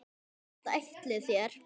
Hvert ætlið þér?